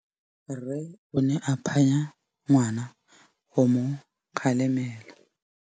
Rre o ne a phanya ngwana go mo galemela.